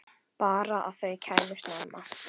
Bara að þau kæmu snemma.